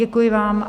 Děkuji vám.